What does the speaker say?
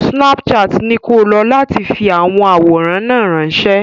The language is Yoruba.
Snapchat ni ko lo láti fi àwọn àwòrán náà ránṣẹ́.